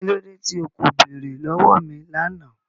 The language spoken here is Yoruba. Kí lódé tí o kò bẹ̀ẹ̀rẹ̀ lọ̀wọ̀ mi lánà?